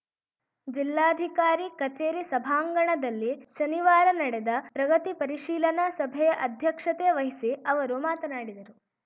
ಜಿಲ್ಲಾಧಿಕಾರಿ ಕಚೇರಿ ಸಭಾಂಗಣದಲ್ಲಿ ಶನಿವಾರ ನಡೆದ ಪ್ರಗತಿ ಪರಿಶೀಲನಾ ಸಭೆಯ ಅಧ್ಯಕ್ಷತೆ ವಹಿಸಿ ಅವರು ಮಾತನಾಡಿದರು